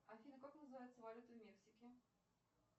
афина как называется валюта в мексике